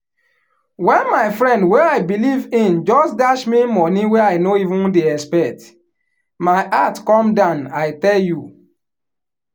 wen my friend wey i believe in just dash me money wey i no even dey expect my heart come down i tell you